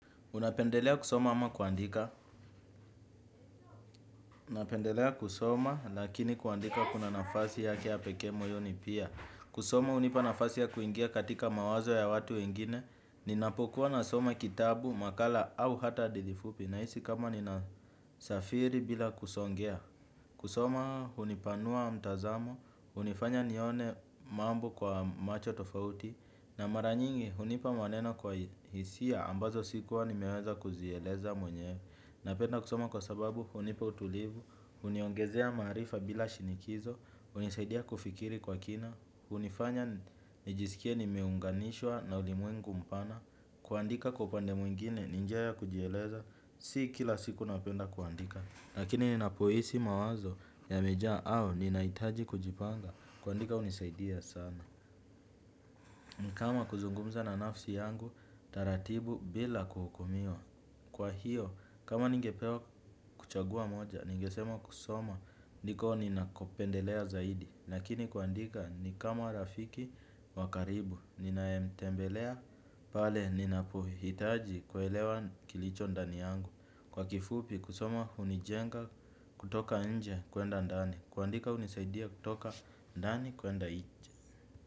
Unapendelea kusoma ama kuandika. Napendelea kusoma lakini kuandika kuna nafasi yake ya pekee moyoni pia. Kusoma hunipa nafasi ya kuingia katika mawazo ya watu wengine. Ninapokuwa nasoma kitabu, makala au hata hadithi fupi nahisi kama nina safiri bila kusongea. Kusoma hunipanua mtazamo, hunifanya nione mambo kwa macho tofauti. Na mara nyingi, hunipa maneno kwa hisia ambazo sikuwa nime weza kuzieleza mwenye. Napenda kusoma kwa sababu, hunipa utulivu, huniongezea maarifa bila shinikizo, hunisaidia kufikiri kwa kina, hunifanya nijisikie nimeunganishwa na ulimwengu mpana, kuandika kwa upande mwingine, ni njia ya kujieleza, si kila siku napenda kuandika. Lakini ninapo hisi mawazo yamejaa au, ninahitaji kujipanga, kuandika hunisaidia sana. Kama kuzungumza na nafsi yangu, taratibu bila kuhukumiwa. Kwa hiyo, kama ningepewa kuchagua moja, ningesema kusoma, ndiko ninakopendelea zaidi. Lakini kuandika, ni kama rafiki wa karibu, ninae mtembelea, pale ninapohitaji kuelewa kilicho ndani yangu. Kwa kifupi, kusoma hunijenga kutoka nje kwenda ndani. Kuandika hunisaidia kutoka ndani kwenda nje.